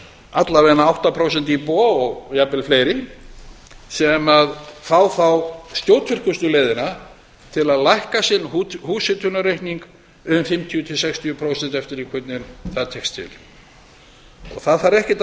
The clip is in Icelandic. alla vega átta prósent íbúa og jafnvel fleiri sem fá þá skjótvirkustu leiðina til að lækka sinn húshitunarreikning um fimmtíu til sextíu prósent eftir því hvernig það tekst til það þarf ekkert